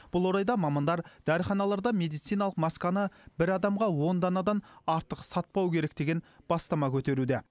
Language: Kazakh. бұл орайда мамандар дәріханаларда медициналық масканы бір адамға он данадан артық сатпау керек деген бастама көтеруде